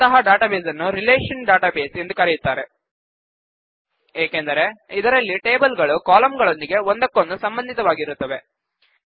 ಅಂತಹ ಡಾಟಾಬೇಸ್ ನ್ನು relational database ಎಂದು ಕರೆಯುತ್ತಾರೆ ಏಕೆಂದರೆ ಅದರಲ್ಲಿ ಟೇಬಲ್ ಗಳು ಕಾಲಂಗಳೊಂದಿಗೆ ಒಂದಕ್ಕೊಂದು ಸಂಬಂಧಿತವಾಗಿರುತ್ತವೆ